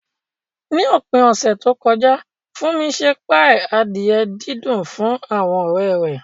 Ní òpin ọ̀sẹ̀ tó kọjá, Funmi ṣe páì adìẹ dídùn fún àwọn ọ̀rẹ́ rẹ̀.